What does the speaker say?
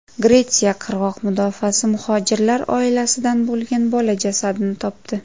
Gretsiya qirg‘oq mudofaasi muhojirlar oilasidan bo‘lgan bola jasadini topdi.